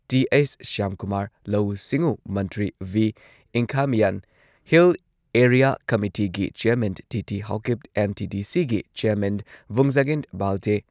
T H. Shyamkumar, ꯂꯧꯎ ꯁꯤꯡꯎ ꯃꯟꯇ꯭ꯔꯤ ꯚꯤ. ꯏꯪꯈꯥꯃꯤꯌꯥꯟ, ꯍꯤꯜ ꯑꯦꯔꯤꯌꯥ ꯀꯃꯤꯇꯤꯒꯤ ꯆꯦꯌꯔꯃꯦꯟ ꯇꯤ.ꯇꯤ. ꯍꯥꯎꯀꯤꯞ, ꯑꯦꯝ.ꯇꯤ.ꯗꯤ.ꯁꯤꯒꯤ ꯆꯦꯌꯔꯃꯦꯟ ꯚꯨꯡꯖꯥꯒꯤꯟ ꯕꯥꯜꯇꯦ,